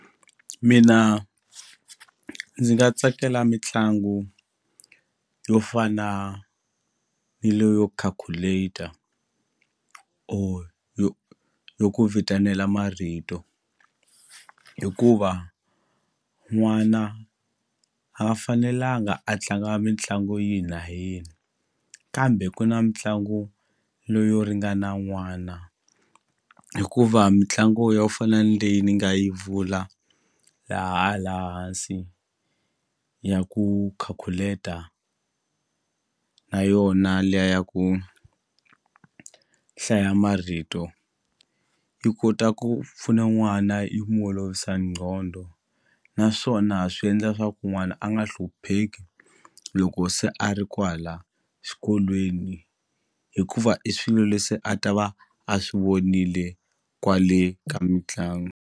Mina ndzi nga tsakela mitlangu yo fana ni leyo calculator or yo yo ku vitanela marito hikuva n'wana a nga fanelanga a tlanga mitlangu yini na yini kambe ku na mitlangu leyo ringana n'wana hikuva mitlangu yo fana ni leyi ni nga yi vula laha la hansi ya ku khakhuketa na yona liya ya ku hlaya marito yi kota ku pfuna n'wana yi n'wu olovisa nqondo ya naswona swi endla swa ku n'wana a nga hlupheki loko se a ri kwala xikolweni hikuva i swilo leswi a ta va a swi vonile kwale ka mitlangu.